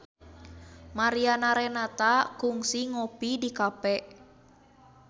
Mariana Renata kungsi ngopi di cafe